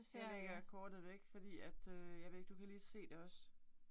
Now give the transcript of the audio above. Nu lægger jeg kortet væk fordi at øh jeg ved ikke du kan lige se det også